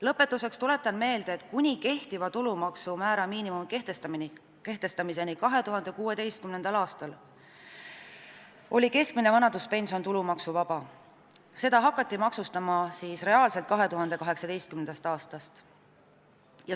Lõpetuseks tuletan meelde, et kuni kehtiva tulumaksuvaba miinimumi kehtestamiseni 2016. aastal oli keskmine vanaduspension tulumaksuvaba, seda hakati reaalselt maksustama 2018. aastast.